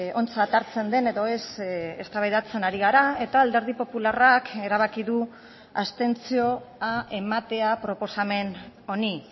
ontzat hartzen den edo ez eztabaidatzen ari gara eta alderdi popularrak erabaki du abstentzioa ematea proposamen honi